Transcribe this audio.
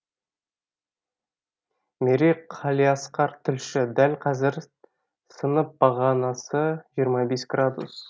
мерей қалиасқар тілші дәл қазір сынып бағанасы жиырма бес градус